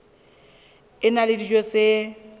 a na le dijo tse